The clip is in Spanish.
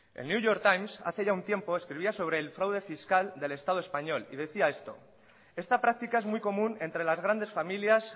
el new york times hace ya un tiempo escribía sobre el fraude fiscal del estado español y decía esto esta práctica es muy común entre las grandes familias